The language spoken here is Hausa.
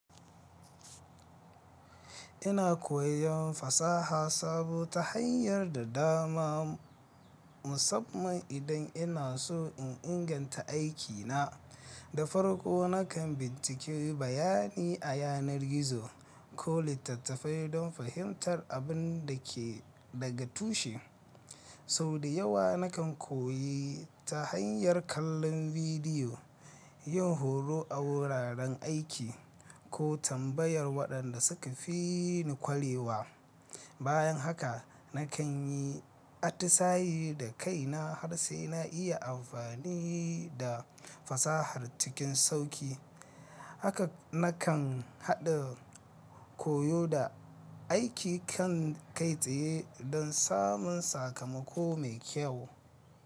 Ina koyon fasaha sabo ta hanya da dama, musamman idan ina so in inganta aikina. Da farko nakan binciko bayani a yanar gizo ko littattafai don fahimtar abin da ke daga tushe. Sau dayawa nakan koyi ta hanyar kallon bidiyo, yin horo a wuraren aiki, ko tambayar waɗanda suka fi ni kwarewa. Bayan haka nakan yi atisaye da kaina har sai na iya amfani da fasahar cikin sauƙi. Haka nakan haɗa koyo da aiki kan kai tsaye don samun sakamako mai kyau.